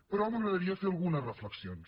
però m’agradaria fer algunes reflexions